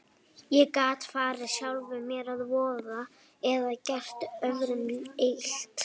Ég gat farið sjálfum mér að voða eða gert öðrum illt.